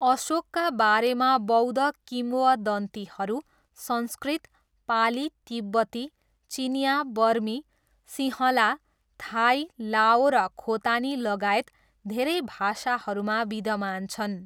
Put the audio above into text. अशोकका बारेमा बौद्ध किम्वदन्तीहरू संस्कृत, पाली, तिब्बती, चिनियाँ, बर्मी, सिँहला, थाई, लाओ र खोतानीलगायत धेरै भाषाहरूमा विद्धमान छन्।